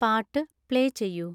പാട്ട് പ്ലേ ചെയ്യൂ